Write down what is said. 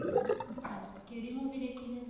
ਅੱਛਾ ਕਿਹੜੀ movie ਦੇਖੀ ਫੇਰ